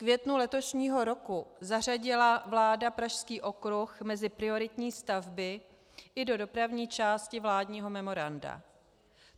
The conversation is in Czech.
V květnu letošního roku zařadila vláda Pražský okruh mezi prioritní stavby i do dopravní části vládního memoranda.